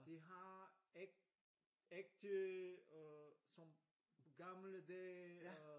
De har ægte øh som gamle dage øh